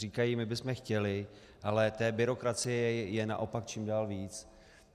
Říkají: My bychom chtěli, ale té byrokracie je naopak čím dál více.